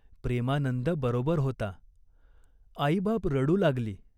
प्रेमानंद बरोबर होता.आईबाप रडू लागली.